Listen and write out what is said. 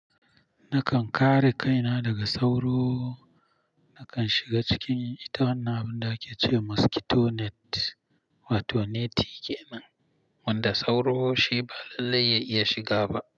Nakan kare kaina daga sauro, nakan shiga cikin ita wannan abunda ake ce wa mosquito net wato neti kenan wanda sauro shi ba lallai ya iya shiga ba.